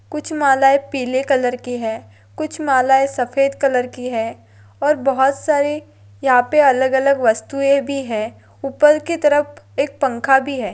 कुछ मालाए पीले कलर की है कुछ मालाए सफ़ेद कलर की है और बहुत सारी यहा पे अलग अलग वस्तुए भी है उपर की तरफ एक पंखा भी है।